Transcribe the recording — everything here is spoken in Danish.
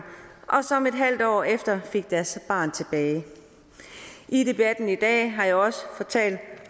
og som et halvt år efter fik deres barn tilbage i debatten i dag har jeg også fortalt